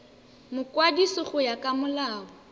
mokwadisi go ya ka molao